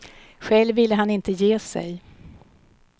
Själv ville han inte ge sig.